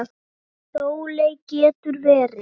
Sóley getur verið